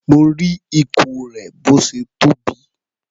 Mo rí ikùn rẹ̀ bó ṣe tóbi.